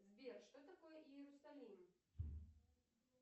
сбер что такое иерусалим